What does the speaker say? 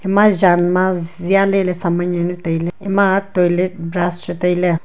ema jan ma jia leley saman jawnu tailey ema toilet brush chu tailey.